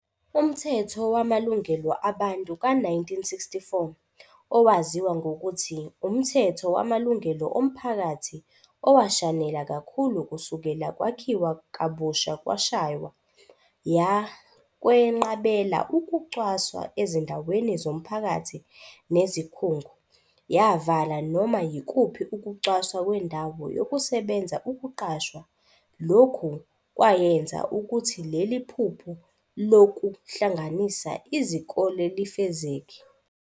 Umthetho Wamalungelo Abantu ka-1964, owaziwa ngokuthi "umthetho wamalungelo omphakathi owashanela kakhulu kusukela Kwakhiwa Kabusha" washaywa. Yakwenqabela ukucwasa ezindaweni zomphakathi nezikhungo, yavala noma yikuphi ukucwaswa kwendawo yokusebenza, ukuqashwa, lokhu kwayenza ukuthi leli phupho loku hlanganisa izikole lifezeke.